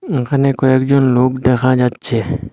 এখানে কয়েকজন লোক দেখা যাচ্ছে।